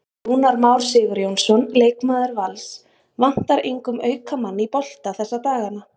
Rúnar Már Sigurjónsson, leikmaður Vals: Vantar engum auka mann í bolta þessa dagana?